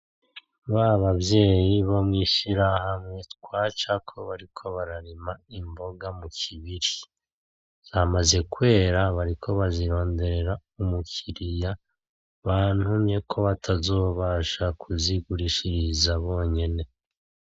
Babavyeyi bo mwishirahamwe twacako bariko bararima imboga mu kibiri, zamaze kwera bariko barondera umukiriya bantumyeko kubera batazobasha kuzigurishiriza bonyene